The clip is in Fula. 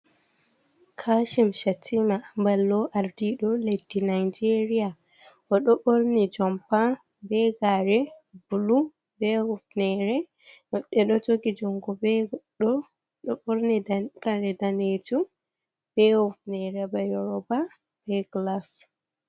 Kashim Shatima ballo ardiɗo leddi Nigeria o ɗo ɓorni jompa be gare bulu be hufnere, woɓɓe ɗo jogi juungo be goɗɗo ɗo borni dan kare danjum be hufnere, ba Yorba be gilas.